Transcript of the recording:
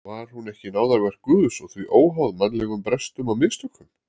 Var hún ekki náðarverk Guðs og því óháð mannlegum brestum og mistökum?